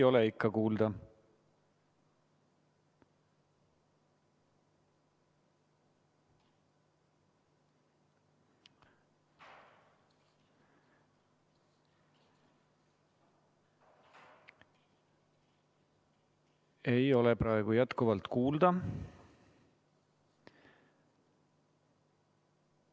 Ei ole praegu jätkuvalt kuulda.